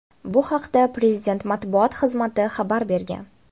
Bu haqda Prezident matbuot xizmati xabar bergan .